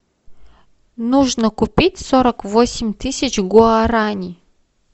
нужно купить сорок восемь тысяч гуараней